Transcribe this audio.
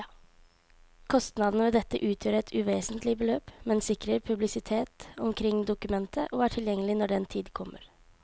Kostnadene ved dette utgjør et uvesentlig beløp, men sikrer publisitet omkring dokumentet og er tilgjengelig når den tid kommer.